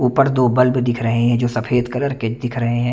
ऊपर दो ब्लब भी दिख रहे हैं जो सफ़ेद कलर के दिख रहे हैं।